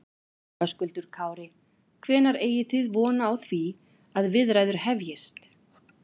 Höskuldur Kári: Hvenær eigi þið von á því að viðræður hefjist?